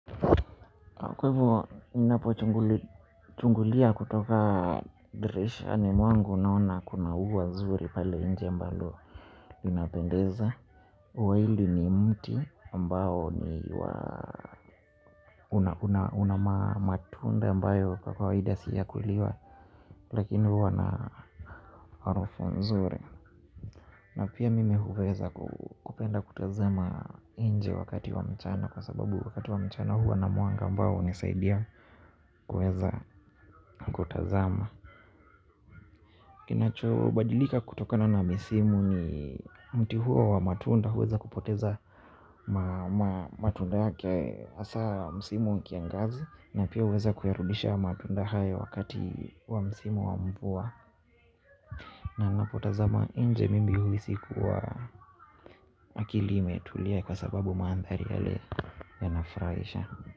Kwa hivo ninapochungulia kutoka dirishani mwangu naona kuna ua zuri pale nje ambalo linapendeza. Ua hili ni mti ambao ni una matunda ambayo kwa kawaida si ya kuliwa. Lakini huwa na harufu nzuri. Na pia mimi huweza kupenda kutazama nje wakati wa mchana kwa sababu wakati wa mchana huwa na mwanga ambao hunisaidia kuweza kutazama. Kinachobadilika kutokana na misimu ni mti huo wa matunda huweza kupoteza matunda yake hasa msimu wa kiangazi na pia huweza kuyarudisha matunda haya wakati wa msimu wa mvua na ninapotazama nje mimi huhisi kuwa akili imetulia kwa sababu mandhari yale yanafurahisha.